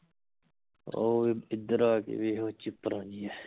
ਉਹ ਇਧਰ ਆ ਕੇ ਦੇਖ ਉਹ ਚਿਪਰਾਂ ਜਿਹੇਂ